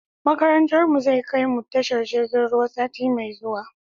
Makarantar mu zai kai mu tashar jiragen ruwa sati mai zuwa